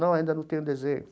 Não, ainda não tenho desenho.